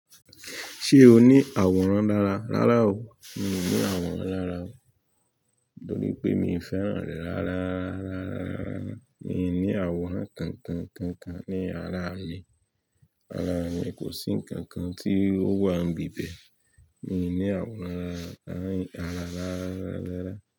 Ṣé o ní àwòrán lára? Rárá o, mi ò ní àwòrán lára o, nítorí pé mi ò fẹ́ràn rẹ̀ rárárara. Rárá, mi i ní àwòrán kankan kankan ní ara mi. Ara mi kò sí ǹkan kan tí ó wà n bibẹ̀. Mi ò ní àwòrán lára, rárá, rárá.